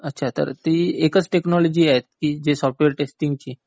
अच्छा तर ती एकाच टेकनॉलॉजी आहे सॉफ्टवेअर टेस्टिंग ची?